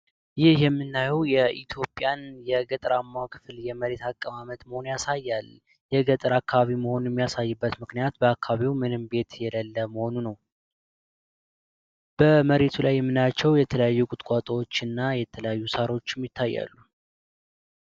ይህ የምናየው የኢትዮጵያ የገጠራማዉን ክፍል የመሬት አቀማመጥ መሆኑን ያሳያል ፤ የገጠር አከባቢ መሆኑን የሚያሳየው ምክንያት በአከባቢው ምንም ቤት የሌለ መሆኑ ነው። በመሬቱ ላይ የምናያቸው የተለያዩ ቁጥቋጦዎች እና የተለያዩ ሳሮችም ይታያሉ።